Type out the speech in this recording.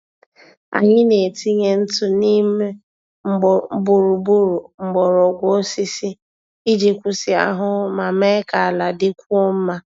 Anyị na-etinye ntụ neem gburugburu mgbọrọgwụ osisi iji kwụsị ahụhụ ma mee ka ala dịkwuo mma.